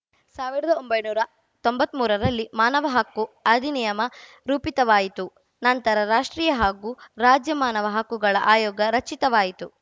ಸಾವಿರದ ಒಂಬೈನೂರ ತೊಂಬತ್ಮೂರರಲ್ಲಿ ಮಾನವ ಹಕ್ಕು ಅಧಿನಿಯಮ ರೂಪಿತವಾಯಿತು ನಂತರ ರಾಷ್ಟ್ರೀಯ ಹಾಗೂ ರಾಜ್ಯ ಮಾನವ ಹಕ್ಕುಗಳ ಆಯೋಗ ರಚಿತವಾಯಿತು